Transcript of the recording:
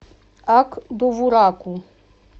ак довураку